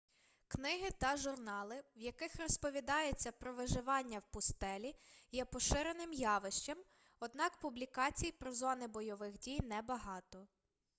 книги та журнали в яких розповідається про виживання в пустелі є поширеним явищем однак публікацій про зони бойових дій небагато